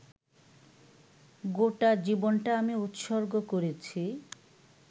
গোটা জীবনটা আমি উৎসর্গ করেছি